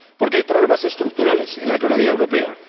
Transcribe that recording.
Porque hay problemas estructurales en la economía europea